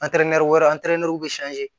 wɛrɛ bɛ